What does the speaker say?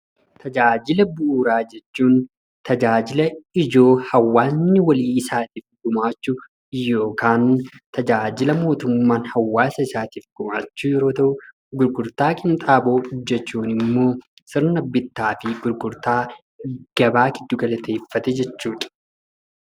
Tajaajila bu'uuraa jechuun tajaajila ijoo hawaasni isaaf gumaachu yookaan tajaajila mootummaan hawaasa isaatiif gumaachu yoo ta'u, gurgurtaa qinxaaboo hojjechuun immoo sirna bittaa fi gurgurtaa gabaa giddugaleeffate jechuudha.